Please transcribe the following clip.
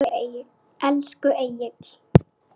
Elsku Egill.